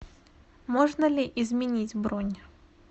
можно ли изменить бронь